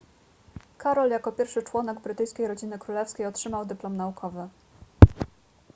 karol jako pierwszy członek brytyjskiej rodziny królewskiej otrzymał dyplom naukowy